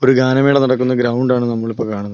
ഗാനമേള നടക്കുന്ന ഗ്രൗണ്ട് ആണ് നമ്മൾ ഇപ്പോൾ കാണുന്നത്.